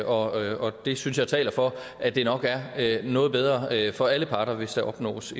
og det synes jeg taler for at det nok er noget bedre for alle parter hvis der opnås